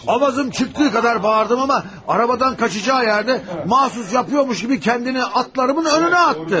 Avazım çıxdığı qədər bağırdım, amma arabadan qaçacağı yerdə, məxsus yapırmış kimi özünü atlarımın önünə atdı.